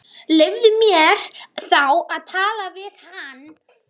Leyfðu mér þá að tala við hana.